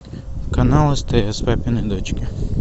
канал стс папины дочки